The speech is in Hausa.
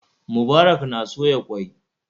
Mubarak na soya ƙwai.